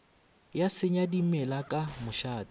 ya senya dimela ka mošate